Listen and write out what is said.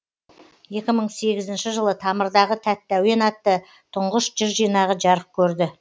екі мың сегізінші жылы тамырдағы тәтті әуен атты тұңғыш жыр жинағы жарық көрді